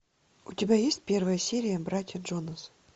у тебя есть первая серия братья джонас